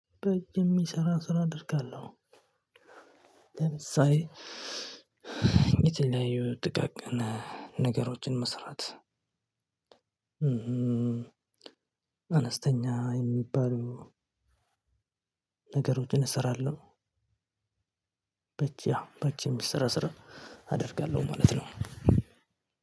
በየሚሰራ ስራ አደርጋለሁ። ለምሳሌ ይቺን ላይ የጥቃቅን ጥቃቅን ነገሮችን መስራት። አነስተኛ የሚባሉ ነገሮችን እሰራለሁ። በእጅ በእጅ የሚሰራ ስራ አደርጋለሁ ማለት ነው።